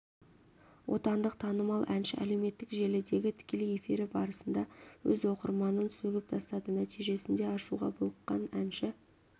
отандық танымал әнші әлеуметтік желідегі тікелей эфирі барысында өз оқырманын сөгіп тастады нәтижесінде ашуға булыққан әнші